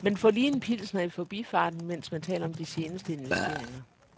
Man får lige en pilsner i forbifarten, mens man taler om de seneste investeringer.